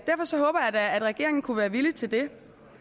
da at regeringen kunne være villig til det